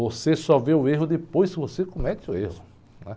Você só vê o erro depois que você comete o erro, né?